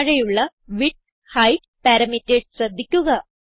താഴെയുള്ള width height parameters ശ്രദ്ധിക്കുക